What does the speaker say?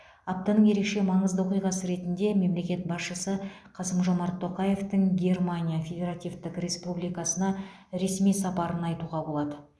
аптаның ерекше маңызды оқиғасы ретінде мемлекет басшысы қасым жомарт тоқаевтың германия федеративтік республикасына ресми сапарын айтуға болады